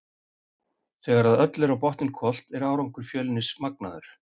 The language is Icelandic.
Þegar að öllu er á botninn hvolft er árangur Fjölnis magnaður.